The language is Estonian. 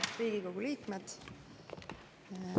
Head Riigikogu liikmed!